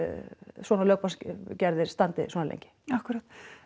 svona lögbann standi svona lengi akkúrat